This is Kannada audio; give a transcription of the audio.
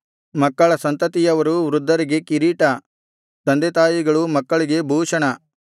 ಮಕ್ಕಳ ಸಂತತಿಯವರು ವೃದ್ಧರಿಗೆ ಕಿರೀಟ ತಂದೆತಾಯಿಗಳು ಮಕ್ಕಳಿಗೆ ಭೂಷಣ